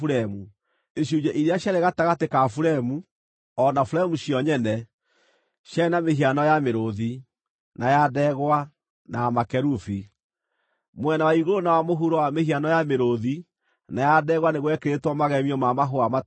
Icunjĩ iria ciarĩ gatagatĩ ka buremu, o na buremu cio nyene, ciarĩ na mĩhiano ya mĩrũũthi, na ya ndegwa, na ya makerubi. Mwena wa igũrũ na wa mũhuro wa mĩhiano ya mĩrũũthi na ya ndegwa nĩ gwekĩrĩtwo magemio ma mahũa mature.